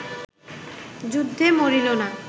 যুদ্ধে মরিল না